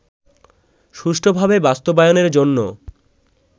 সুষ্ঠুভাবে বাস্তবায়নের জন্য